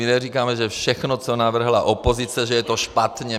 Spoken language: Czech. My neříkáme, že všechno, co navrhla opozice, že je to špatně.